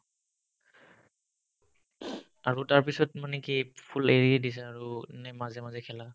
আৰু তাৰপিছত মানে কি full এৰিয়ে দিছা আৰু নে মাজে মাজে খেলা